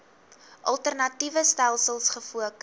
alternatiewe stelsels gefokus